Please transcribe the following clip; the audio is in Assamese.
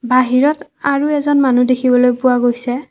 বাহিৰত আৰু এজন মানুহ দেখিবলৈ পোৱা গৈছে।